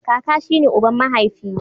Kaka shi ne uban mahaifi.